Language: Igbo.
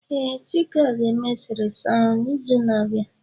Ee, Chika ga-eme eserese ahu n'izu na-abịa.